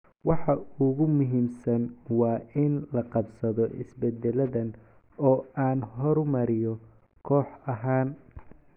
Waxa ugu muhiimsan waa in laqabsado isbeddeladan oo aan horumariyo koox ahaan."